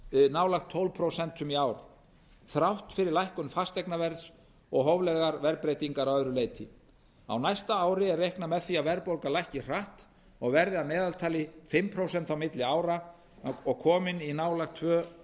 nálægt tólf prósent í ár þrátt fyrir lækkun fasteignaverðs og hóflegar verðbreytingar að öðru leyti á næsta ári er reiknað með því að verðbólga lækki hratt og verði að meðaltali fimm prósent á milli ára og komin í nálægt tveimur